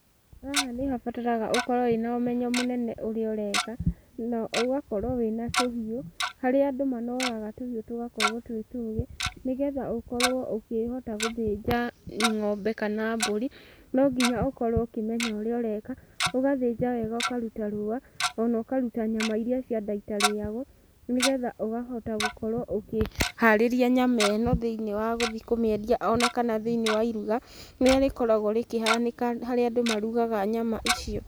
Haha nĩhabataraga ũkorwo wĩ na ũmenyo mũnene ũrĩaũreka na ũgakorwo wĩ na tũhiũ. Haria andũ manoraga tũhiũ tũgakorwo twĩtũgĩ nĩgetha ũkorwo ũkĩhota gũthĩnja ng'ombe kana mbũri, no nginya ũkorwo ũkĩmenya ũrĩa ũreka, ũgathĩnja wega ũkaruta rũwa na ũkaruta nyama irĩa cia nda itarĩyagwo nĩgetha ũkahota gũkorwo ũkĩharĩria nyama ĩ no thĩiniĩ wa gũthiĩ kũmĩendia o na kana thĩiniĩ wa iruga rĩrĩa rĩkoragwo rĩkĩhanĩka harĩa andũ maruga nyama icio.